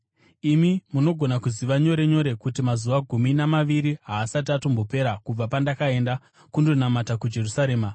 Imi munogona kuziva nyore nyore kuti mazuva gumi namaviri haasati atombopera kubva pandakaenda kundonamata kuJerusarema.